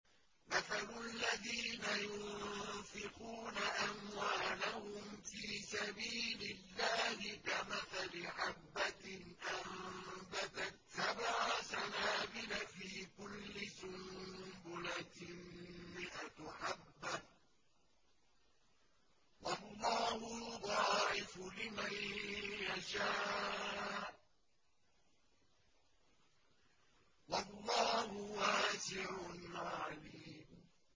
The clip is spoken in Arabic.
مَّثَلُ الَّذِينَ يُنفِقُونَ أَمْوَالَهُمْ فِي سَبِيلِ اللَّهِ كَمَثَلِ حَبَّةٍ أَنبَتَتْ سَبْعَ سَنَابِلَ فِي كُلِّ سُنبُلَةٍ مِّائَةُ حَبَّةٍ ۗ وَاللَّهُ يُضَاعِفُ لِمَن يَشَاءُ ۗ وَاللَّهُ وَاسِعٌ عَلِيمٌ